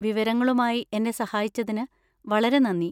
വിവരങ്ങളുമായി എന്നെ സഹായിച്ചതിന് വളരെ നന്ദി.